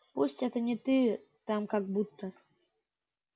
пусть это не ты там как буд-то